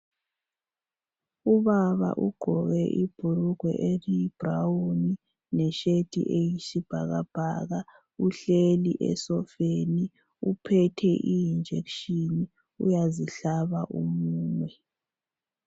Ubbaa ugqoke ibhulugwe elilithanga leshirt eluhlaza okwesibhakabhaka uhleli esofeni uphethe I injection uyazihlaba umunwe.